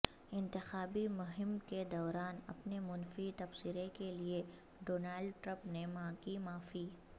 انتخابی مہم کے دوران اپنے منفی تبصرے کے لئے ڈونالڈ ٹرمپ نے مانگی معافی